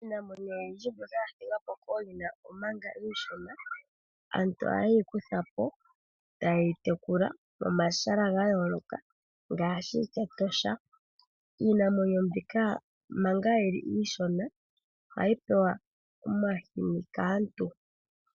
Iinamwenyo oyindji mbyoka ya thigwa po kooyina omanga iishona aantu oha yeyi kutha po etaye yi tekula momahala ga yooloka ngaashi Etosha. Iinamwenyo mbika manga yili iishona ohayi pewa omahini kaantu.